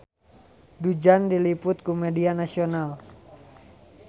Du Juan diliput ku media nasional